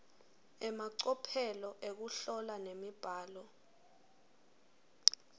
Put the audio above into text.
emacophelo ekuhlola nemibhalo